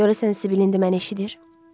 Görəsən Sibildə indi məni eşidir?